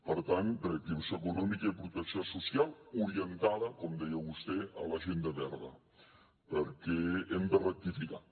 per tant reactivació econòmica i protecció social orientada com deia vostè a l’agenda verda perquè hem de rectificar